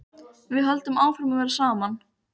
Þetta er eldgömul þula þó er hún alltaf ný.